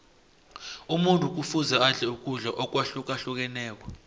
umuntu kufuze adle ukudla akwahlukahlukeneko